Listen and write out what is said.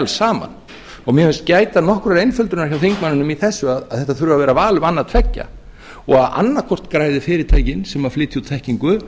saman mér finnst gæta nokkurrar einföldunar hjá þingmanninum í þessu að þetta þurfi að vera val um annað tveggja og annað hvort græði fyrirtækin sem flytja út þekkingu